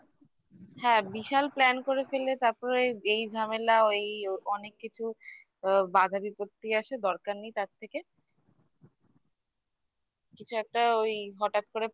হ্যাঁ বিশাল plan করে ফেললে তারপরে এই ঝামেলা ওই অনেক কিছু আ বাধা বিপত্তি আসে দরকার নেই তার থেকে কিছু একটা ওই হঠাৎ করে